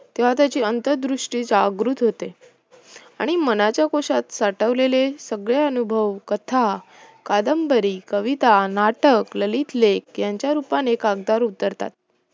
तेव्हा त्याची अंतरदृष्टि जागृत होते आणि मनाच्या कुशात साठवलेले सगळे अनुभव, कथा, कादंबरी, कविता, नाटक, ललितलेख यांच्या रूपाने कागदावर उतरतात